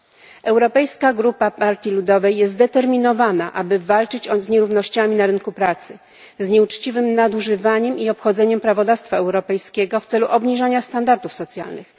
Grupa Europejskiej Partii Ludowej jest zdeterminowana, aby walczyć z nierównościami na rynku pracy, z nieuczciwym nadużywaniem i obchodzeniem prawodawstwa europejskiego w celu obniżenia standardów socjalnych.